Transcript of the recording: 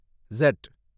ஸட்